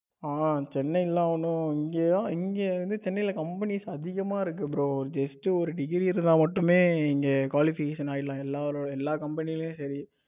ஆ சென்னை எல்லாம் ஒன்னும் இங்க இங்க வந்து சென்னையில companies அதிகமா இருக்கு bro just ஒரு degree இருந்தா மட்டுமே இங்க qualification ஆகிடலாம் எல்லா company யும் சரி